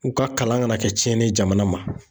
U ka kalan kana kɛ tiɲɛni ye jamana ma.